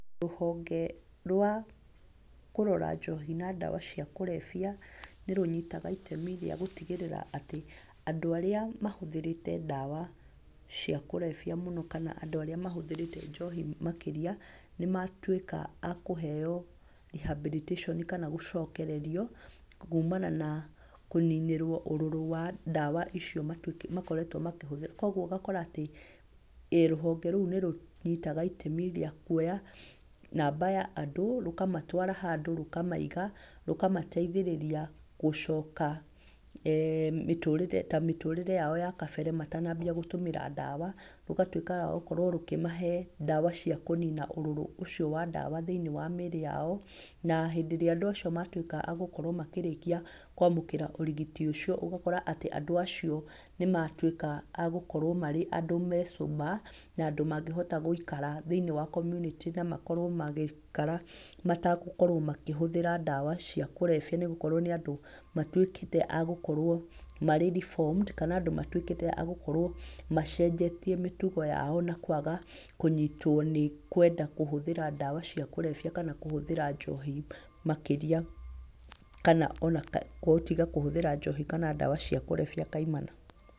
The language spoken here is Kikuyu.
Rũhonge rwa kũrora njohi na ndawa cia kũrebia, nĩ rũnyitaga itemi rĩa gũtigĩrĩra atĩ, andũ arĩa mahũthĩrĩte ndawa cia kũrebia mũno, kana andũ arĩa mahũthĩrĩte njohi mũno makĩria, nĩmatuĩka a kũheyo rehabilitation, kana gũcokererio, kuumana na kũninĩrwo ũrũrũ wa ndawa icio makoretwo makĩhũthĩra, koguo ũgakora atĩ, rũhonge rũu nĩ ruoyaga itemi rĩa kuoya namba ya andũ, rũkamatwara handũ rũkamaiga, rũkamateithĩrĩria gũcoka tamĩtũrĩre yao ya kabere matanambia gũtũmĩra ndawa, rũgatuĩka rwa kũmahe ndawa cia kũnina ũrũrũ wa ndawa thĩinĩ wa mĩĩrĩ yao, na hĩndĩ ĩrĩa andũ acio marĩkia gũkorwo makĩamũkĩra ũrigiti ũcio atĩ andũ acio nĩmatuĩka a gũkorwo marĩ andũ sober, na andũ mangĩhota gũikara thĩinĩ wa community na atĩ makorwo magĩikara matagũkorwo makĩhũthĩra ndawa cia kũrebia nĩgũkorwo nĩ andũ matuĩkĩte a gũkorwo marĩ reformed. Kana andũ matũĩkĩte a gũkorwo macenjetie mĩtũgo yao na kwaga kũnyitwo nĩ kwenda kũhũthĩra ndawa cia kũrebia kana kwenda kũhũthĩra njohi makĩrĩa kana ona kana gũtiga kũhũthĩra njohi, kana ndawa cia kũrebia kaimana.